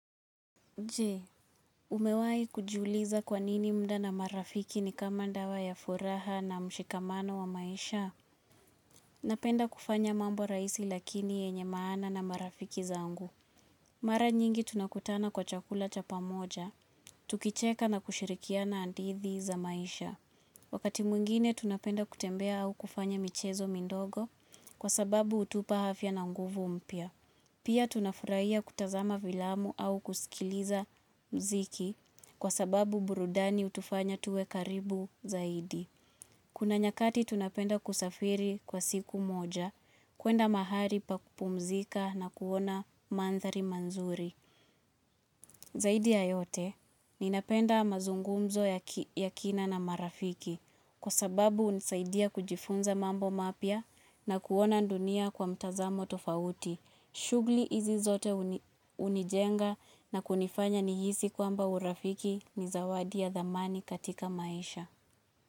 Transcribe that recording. Jee, umewai kujiuliza kwa nini mda na marafiki ni kama ndawa ya furaha na mshikamano wa maisha. Napenda kufanya mambo raisi lakini yenye maana na marafiki zangu. Mara nyingi tunakutana kwa chakula chapamoja. Tukicheka na kushirikia na andithi za maisha. Wakati mwingine tunapenda kutembea au kufanya michezo mindogo kwa sababu utupa hafya na nguvu mpya. Pia tunafuraiya kutazama vilamu au kusikiliza mziki kwa sababu burudani utufanya tuwe karibu zaidi. Kuna nyakati tunapenda kusafiri kwa siku moja, kuenda mahali pakupumzika na kuona mandhari manzuri. Zaidi yayote, ninapenda mazungumzo ya kina na marafiki kwa sababu unisaidia kujifunza mambo mapya na kuona ndunia kwa mtazamo tofauti. Shugli izi zote unijenga na kunifanya nihisi kwamba urafiki ni zawadi ya dhamani katika maisha.